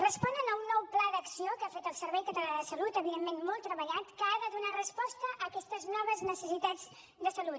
responen a un nou pla d’acció que ha fet el servei català de la salut evidentment molt treballat que ha de donar resposta a aquestes noves necessitats de salut